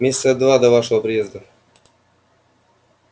месяца два до вашего приезда